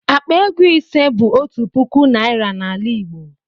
Akpa ego ise bụ otu puku naịra n'ala igbo